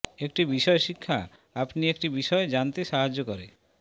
একটি বিষয় শিক্ষা আপনি একটি বিষয় জানতে সাহায্য করে